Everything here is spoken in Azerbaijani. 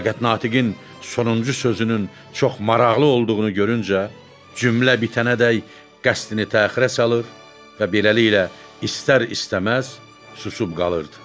Fəqət natiqin sonuncu sözünün çox maraqlı olduğunu görüncə cümlə bitənədək qəsdini təxirə salır və beləliklə istər-istəməz susub qalırdı.